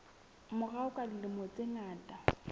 morao ka dilemo tse ngata